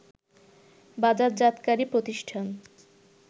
বাজারজাতকারী প্রতিষ্ঠান